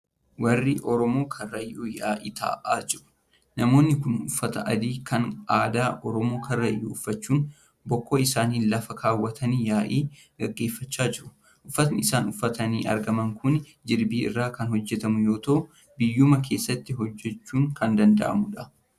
Warri Oromoo Karrayyuu yaa'ii taa'aa jiru. Namoonni kun uffata adii kan aadaa Oromoo Karrayyuu uffachuun, bokkuu isaanii lafa kaawwatanii yaa'ii gaggeeffachaa jiru. Uffati isaan uffatanii argaman kun jirbii irraa kan hojjatamu yoo ta'u biyyuma keessatti hojjachuun kan danda'amudha.